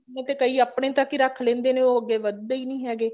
ਮਤਲਬ ਕਈ ਆਪਣੇ ਤੱਕ ਹੀ ਰੱਖ ਲਿੰਦੇ ਨੇ ਉਹ ਅੱਗੇ ਵੱਧਦੇ ਨੀ ਹੈਗੇ